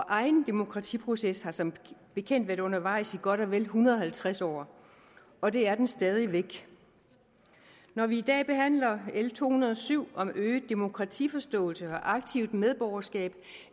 egen demokratiproces har som bekendt været undervejs i godt og vel en hundrede og halvtreds år og det er den stadig væk når vi i dag behandler l to hundrede og syv om øget demokratiforståelse og aktivt medborgerskab